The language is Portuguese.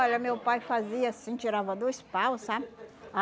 Olha, meu pai fazia assim, tirava dois paus, sabe?